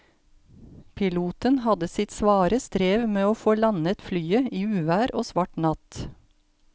Piloten hadde sitt svare strev med å få landet flyet i uvær og svart natt.